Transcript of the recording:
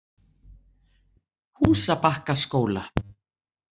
Húsabakkaskóla